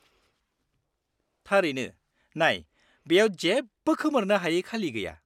-थारैनो। नाय, बेयाव जेबो खोमोरनो हायि खालि गैया।